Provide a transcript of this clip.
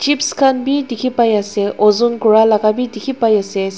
chips khan bhi dekhi pai ase ozon kari laga bhi dekhi pai ase.